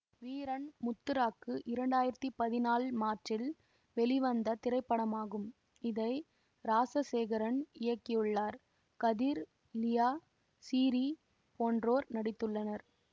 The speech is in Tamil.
வீரன் முத்துராக்கு இரண்டு ஆயிரத்தி பதினாழு மார்ச்சில் வெளிவந்த திரைப்படமாகும் இதை ராசசேகரன் இயக்கியுள்ளார் கதிர் லியா சிறீ போன்றோர் நடித்துள்ளனர்